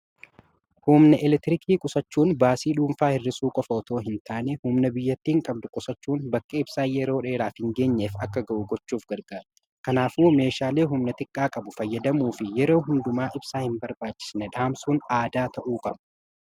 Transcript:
humna elektiriikii qusachuun baasii dhuunfaa hirrisuu qofootoo hin taane humna biyyattiin qabdu qusachuun bakke ibsaa yeroo dheeraaf hin geenyeef akka ga'u gochuuf gargaara kanaafuu meeshaalei humna xiqqaa qabu fayyadamuu fi yeroo hundumaa ibsaa hin barbaachisne dhaamsuun aadaa ta'uu qabu